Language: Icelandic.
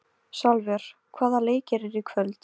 Salvör, hvaða leikir eru í kvöld?